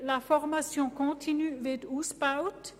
Die «Formation continue» wird ausgebaut.